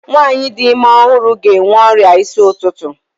Nwaanyị di ime ọhụrụ ga-enwe ọrịa isi ụtụtụ.